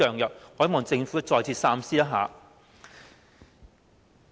我希望政府再次考慮。